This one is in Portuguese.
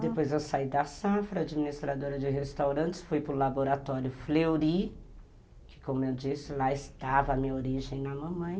Depois eu saí da safra, administradora de restaurantes, fui para o laboratório Fleury, que como eu disse, lá estava a minha origem na mamãe.